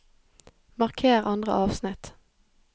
Marker andre avsnitt